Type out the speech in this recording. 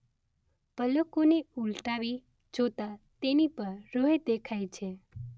પલકો ને ઉલટાવી જોતા તેની પર રોહે દેખાય છે